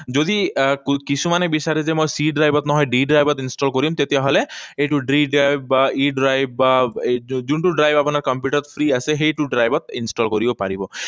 যদি আহ কিছুমানে বিচাৰে যে মই C drive ত নহয়, D drive তহে install কৰিম, তেতিয়াহলে এইটো D drive বা E drive বা এইটো যোনটো drive আপোনাৰ কম্পিউটাৰত free আছে, সেইটো drive ত install কৰিব পাৰিব।